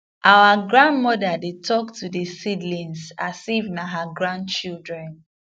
our grandmother dey talk to the seedlings as if na her grandchildren